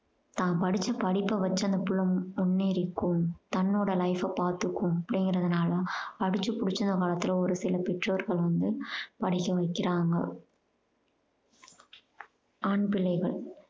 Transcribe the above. தான் படிச்ச படிப்ப வச்சு அந்த புள்ள முன்னேறிக்கும் தன்னோட life அ பாத்துக்கும் அப்படீங்கறதுனால அடிச்சு புடிச்சு ஒரு சில பெற்றோர்கள் வந்து படிக்க வைக்கிறாங்க. ஆண் பிள்ளைகள்